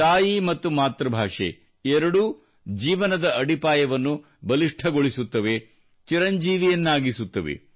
ತಾಯಿ ಮತ್ತು ಮಾತೃಭಾಷೆ ಎರಡೂ ಜೀವನದ ಅಡಿಪಾಯವನ್ನು ಬಲಿಷ್ಠಗೊಳಿಸುತ್ತವೆ ಚಿರಂಜೀವಿಯನ್ನಾಗಿಸುತ್ತವೆ